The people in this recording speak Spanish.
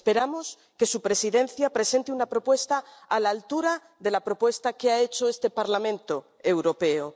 Esperamos que su Presidencia presente una propuesta a la altura de la propuesta que ha hecho este Parlamento Europeo.